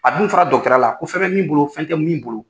A dun fɔra dɔgɔtɔrɔya la ko fɛn bɛ min bolo fɛn tɛ min bolo.